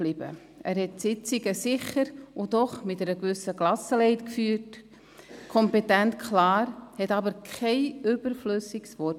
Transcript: Er leitete die Sitzungen sicher und doch mit einer gewissen Gelassenheit – kompetent, klar –, sagte aber kein überflüssiges Wort.